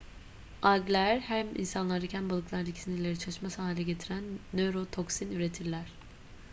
algler hem insanlardaki hem de balıklardaki sinirleri çalışmaz hale getiren nörotoksin üretirler